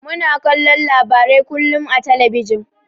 Muna kallon labarai kullun a talabijin.